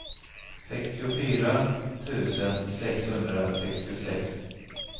sextiofyra tusen sexhundrasextiosex